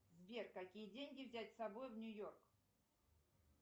сбер какие деньги взять с собой в нью йорк